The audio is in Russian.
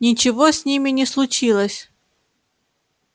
ничего с ними не случилось